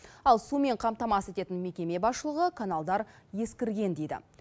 ал сумен қамтамасыз ететін мекеме басшылығы каналдар ескірген дейді